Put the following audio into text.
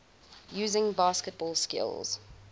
using basketball skills